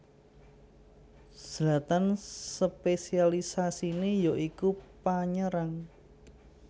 Zlatan spésialisasiné ya iku panyerang